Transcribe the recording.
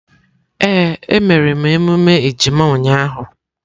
Ee, e mere emume ejima ụnyahụ.